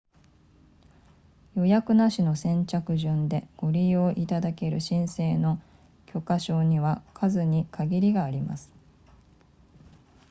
予約なしの先着順でご利用いただける申請の許可証には数に限りがあります